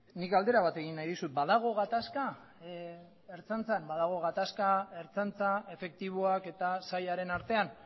nik galdera bat egin nahi dizut badago gatazka ertzaintzan badago gatazka ertzaintza efektiboak eta sailaren artean